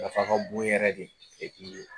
Nafa ka bon yɛrɛ de